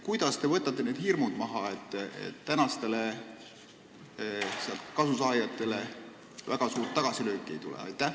Kuidas te võtate hirmud maha ja tagate selle, et praegustele kasusaajatele väga suuri tagasilööke ei tule?